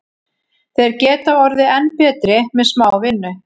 Þeir geta orðið enn betri með smá vinnu.